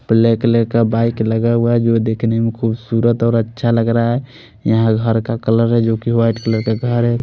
पीले कलर का बाइक लगा हुआ है वो दिखने में खुबसूरत और अच्छा लग रहा है यहाँ हर हर का कलर है जो की वाइट कलर का घर है।